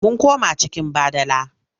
Mun koma cikin badala.